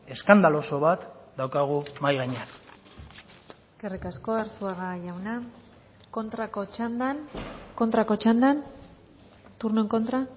eskandaloso bat daukagu mahai gainean eskerrik asko arzuaga jauna kontrako txandan kontrako txandan turno en contra